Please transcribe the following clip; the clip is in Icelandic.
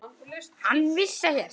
Hann vissi ekkert.